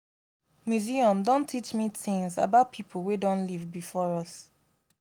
museum don teach me tins about people wey don live before us